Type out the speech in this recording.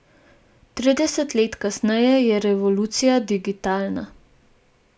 Trideset let kasneje je revolucija digitalna.